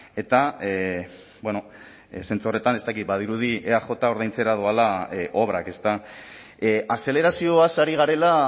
ezta eta bueno zentzu horretan ez dakit badirudi eaj ordaintzera doala obrak ezta azelerazioaz ari garela